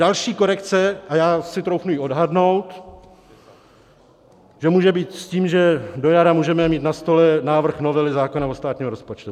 Další korekce, a já si troufnu ji odhadnout, že může být s tím, že do jara můžeme mít na stole návrh novely zákona o státním rozpočtu.